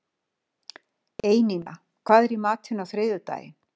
Einína, hvað er í matinn á þriðjudaginn?